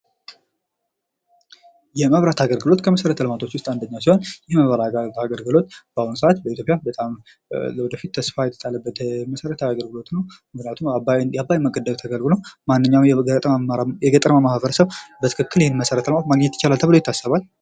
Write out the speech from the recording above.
የመብራት አገልግሎት ከመሰረተ ልማቶች ዉስጥ አንዱ ሲሆን ይህ የመብራት አገልግሎት በአሁኑ ሰዓት በኢትዮጵያ በጣም ለወደፊት ተስፋ የተጣለበት መሰረታዊ አገልግሎት ነዉ። ምክንያቱም ዓባይን መገደብ ተከትሎ የገጠራማዉ ማህበሰሰብ ይህንን አገልግሎት ማግኘት ይችላል ተብሎ ይታሰባል።